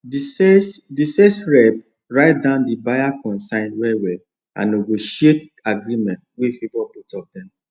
the sales the sales rep write down the buyer concerns well well and negotiate agreement wey favour both of them